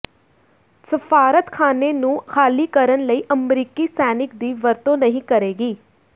ਸਫਾਰਤਖਾਨੇ ਨੂੰ ਖਾਲੀ ਕਰਨ ਲਈ ਅਮਰੀਕੀ ਸੈਨਿਕ ਦੀ ਵਰਤੋਂ ਨਹੀਂ ਕਰੇਗੀ